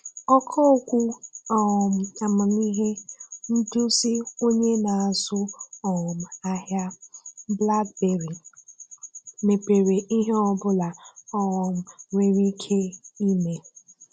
Ọ̀kà Okwu um amamị́he – Ndúzì Onye na-azụ um ahịa; BlackBerry mepèrè ‘íhè ọ̀bụ̀la um nwere ike ị̀mè.’